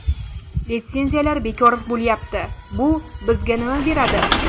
Litsenziyalar bekor bo‘lyapti: bu bizga nima beradi?